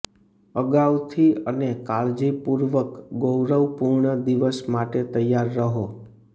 અગાઉથી અને કાળજીપૂર્વક ગૌરવપૂર્ણ દિવસ માટે તૈયાર રહો